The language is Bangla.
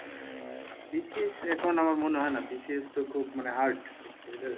BCS আমার মনে হয় না BCS তো খুব মানে hard